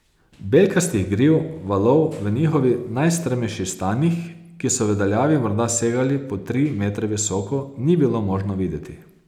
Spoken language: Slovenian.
Belkastih griv valov v njihovih najstrmejših stanjih, ki so v daljavi morda segali po tri metre visoko, ni bilo možno videti.